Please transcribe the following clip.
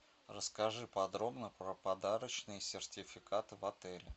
расскажи подробно про подарочные сертификаты в отеле